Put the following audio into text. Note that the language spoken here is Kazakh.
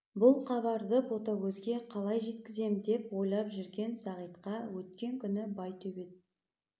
бұл хабарды ботагөзге қалай жеткізем деп ойлап жүрген сағитқа өткен күні байтөбет